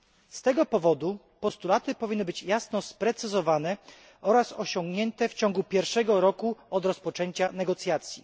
Z tego powodu postulaty powinny być jasno sprecyzowane oraz osiągnięte w ciągu pierwszego roku od rozpoczęcia negocjacji.